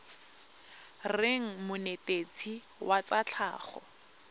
reng monetetshi wa tsa tlhago